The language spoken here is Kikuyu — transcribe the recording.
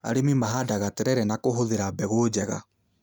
Arĩmi mahandaga terere na kũhũthĩra mbegũ njega